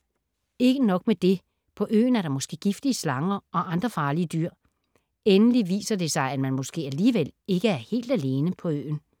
Ikke nok med det, på øen er der måske giftige slanger og andre farlige dyr. Endelig viser det sig, at man måske alligevel ikke er helt alene på øen!